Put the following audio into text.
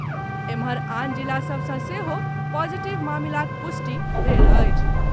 एम्हर आन जिला सभ सँ सेहो पॉजिटिव मामिलाक पुष्टि भेल अछि।